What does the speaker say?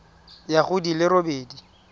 ya go di le robedi